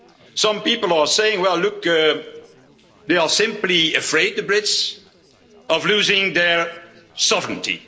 Some people are saying well look, they are simply afraid, the Brits, of losing their sovereignty.